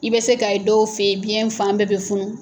I bɛ se ka ye dɔw fɛ yen, biɲɛ fan bɛɛ bɛ funu.